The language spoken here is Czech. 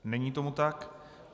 Není tomu tak.